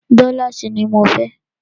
Dọ́láàsì ní mọ fẹ́!